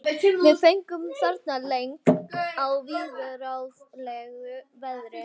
Við fengum þarna leigt á viðráðanlegu verði.